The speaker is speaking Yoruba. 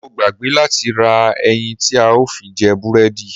Mo gbàgbé láti ra ẹyin tí a ó fi jẹ búrẹ́dì.